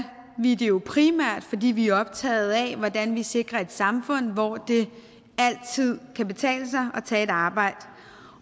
vi det jo primært fordi vi er optagede af hvordan vi sikrer et samfund hvor det altid kan betale sig at tage et arbejde